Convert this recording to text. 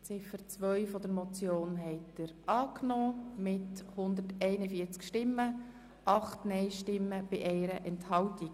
Sie haben Ziffer 2 der Motion angenommen mit 141 Ja- gegen 8 Nein-Stimmen bei 1 Enthaltung.